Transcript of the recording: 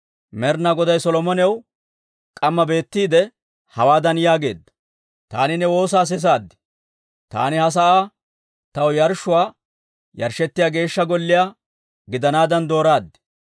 Med'inaa Goday Solomonaw k'amma beetiide, hawaadan yaageedda; «Taani ne woosaa sisaad; taani ha sa'aa taw yarshshuu yarshshettiyaa Geeshsha Golliyaa gidanaadan dooraad.